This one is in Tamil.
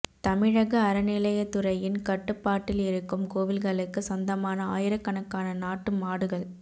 தமிழ்க அறநிலையத்துறையின் கட்டுபாட்டில் இருக்கும் கோவில்களுக்கு சொந்தமான ஆயிரக்கணக்கான நாட்டு மாடுகள்